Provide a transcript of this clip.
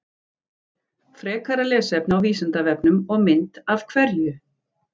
Frekara lesefni á Vísindavefnum og mynd Af hverju?